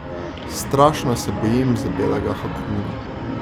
Strašno se bojim za belega hakuuna.